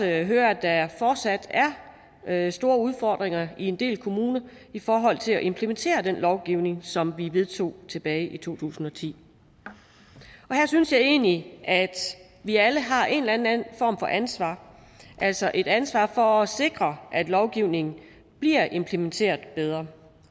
hører at der fortsat er store udfordringer i en del kommuner i forhold til at implementere den lovgivning som vi vedtog tilbage i to tusind og ti her synes jeg egentlig at vi alle har en eller anden form for ansvar altså et ansvar for at sikre at lovgivningen bliver implementeret bedre